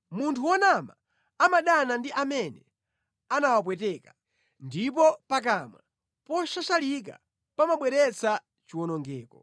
Munthu wonama amadana ndi amene anawapweteka, ndipo pakamwa poshashalika pamabweretsa chiwonongeko.